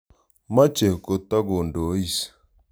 Mache ko takondois.